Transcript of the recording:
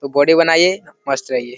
खूब बॉडी बनाइये मस्त रहिए।